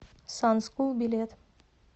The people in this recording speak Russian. сан скул билет